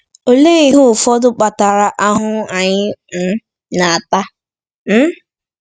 Olee ihe ụfọdụ kpatara ahụhụ anyị um na-ata? um